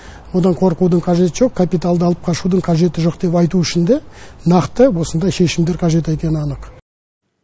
одан қорқудың қажеті жоқ капиталды алып қашудың қажеті жоқ деп айту үшін де нақты осындай шешімдер қажет екені анық